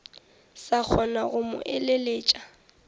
sa kgona go mo eleletša